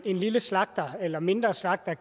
en lille slagter eller mindre slagter